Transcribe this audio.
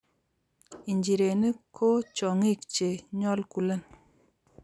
nchirenik ko chong'ik che nyolkulen